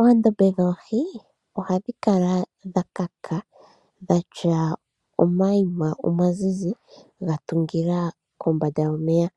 Oondombe dhoohi ohadhi kala dha kaka dhatya omaima omazizi ga tungila kombanda yomeya.